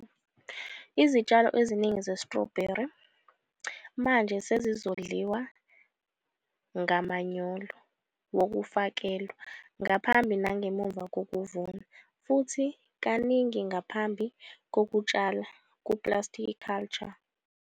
Izitshalo eziningi ze-sitrobheli manje sezondliwa ngamanyolo wokufakelwa, ngaphambi nangemva kokuvuna, futhi kaningi ngaphambi kokutshala ku-plasticulture.